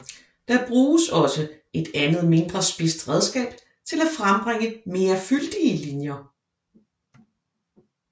Der bruges også et andet mindre spidst redskab til at frembringe mere fyldige linjer